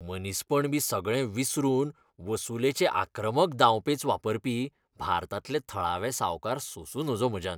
मनीसपण बी सगळें विसरून वसुलेचे आक्रमक दाव पेंच वापरपी भारतांतले थळावे सावकार सोंसूं नजो म्हज्यान.